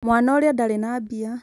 mwana ũrĩa ndarĩ na mbia